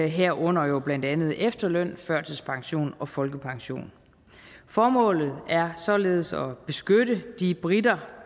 herunder blandt andet efterløn førtidspension og folkepension formålet er således at beskytte de briter